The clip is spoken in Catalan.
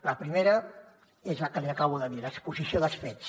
la primera és la que li acabo de dir l’exposició dels fets